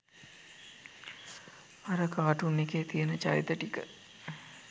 අර කාටූන් එකේ තියෙන චරිත ටික